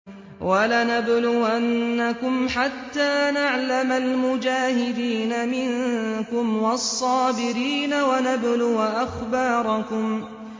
وَلَنَبْلُوَنَّكُمْ حَتَّىٰ نَعْلَمَ الْمُجَاهِدِينَ مِنكُمْ وَالصَّابِرِينَ وَنَبْلُوَ أَخْبَارَكُمْ